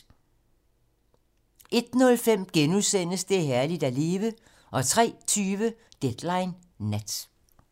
01:05: Det er herligt at leve * 03:20: Deadline nat